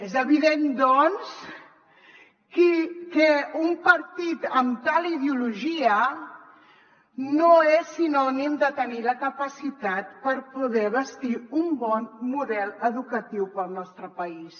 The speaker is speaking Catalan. és evident doncs que un partit amb tal ideologia no és sinònim de tenir la capacitat per poder bastir un bon model educatiu per al nostre país